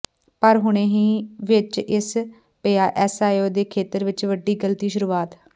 ਪਰ ਹੁਣੇ ਹੀ ਵਿੱਚ ਇਸ ਪਿਆ ਐਸਈਓ ਦੇ ਖੇਤਰ ਵਿਚ ਵੱਡੀ ਗ਼ਲਤੀ ਸ਼ੁਰੂਆਤ